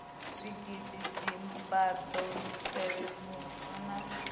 zwigidi dzimbado misevhe vhura na